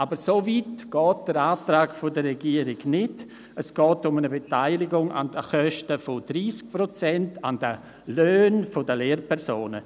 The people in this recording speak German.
Aber so weit geht der Antrag der Regierung nicht, sondern es geht um eine Beteiligung an den Kosten mit 30 Prozent bei den Löhnen der Lehrpersonen.